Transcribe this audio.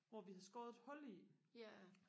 hvor vi havde skåret et hul i